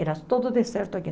Era todo deserto aqui.